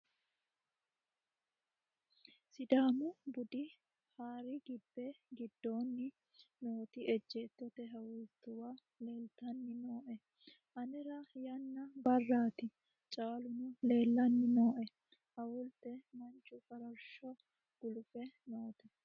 sidamu budu hari gibe gidoonni nooti ejjeetote hawultuwa leltanni noe anera yanna barraati caaluno lellanni nooe awulte manchu farashsho gulufe noote